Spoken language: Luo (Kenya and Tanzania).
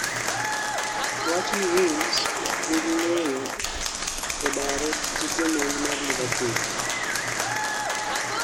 owachni wolves nigi ng'eyo e daro jamonji mar liverpool